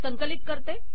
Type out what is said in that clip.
संकलित करते